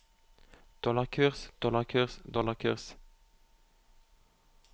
dollarkurs dollarkurs dollarkurs